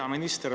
Hea minister!